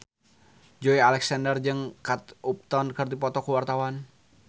Joey Alexander jeung Kate Upton keur dipoto ku wartawan